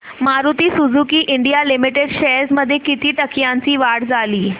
Maruti Suzuki India limited shares मध्ये किती टक्क्यांची वाढ झाली